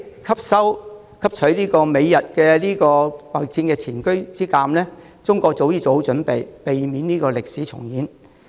汲取美日貿易戰的前車之鑒，中國早已做好準備，避免歷史重演。